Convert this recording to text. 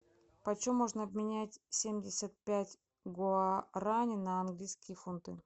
по чем можно обменять семьдесят пять гуарани на английские фунты